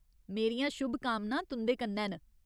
मेरियां शुभकामनां तुं'दे कन्नै न।